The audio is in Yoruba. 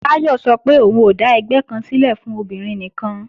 Táyọ̀ sọ pé òun ó dà ẹgbẹ́ kan sílẹ̀ fún àwọn obìnrin nìkan